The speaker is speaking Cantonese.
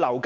此外，樓